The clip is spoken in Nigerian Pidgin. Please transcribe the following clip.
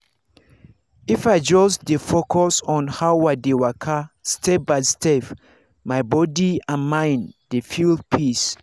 if i just dey focus on how i dey waka step by step my body and mind dey feel peace.